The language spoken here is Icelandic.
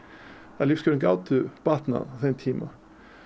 að lífskjör gátu batnað á þeim tíma